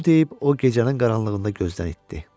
Bunu deyib o gecənin qaranlığında gözdən itdi.